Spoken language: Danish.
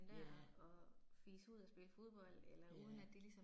Ja. Ja